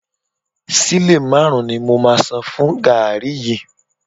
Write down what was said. Sílè márùn-ún ni mo máa san fún gààrí yìí